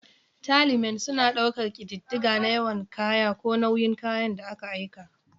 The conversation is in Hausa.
'Tallymen' suna ɗaukar ƙididdiga na yawa ko nauyin kayan da aka aika.